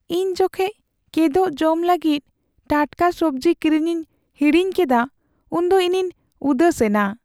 ᱤᱧ ᱡᱚᱠᱷᱮᱡ ᱠᱮᱫᱳᱜ ᱡᱚᱢ ᱞᱟᱹᱜᱤᱫ ᱴᱟᱴᱠᱟ ᱥᱚᱵᱡᱤ ᱠᱤᱨᱤᱧᱤᱧ ᱦᱤᱲᱤᱧ ᱠᱮᱫᱟ ᱩᱱᱫᱚ ᱤᱧᱤᱧ ᱩᱫᱟᱹᱥᱮᱱᱟ ᱾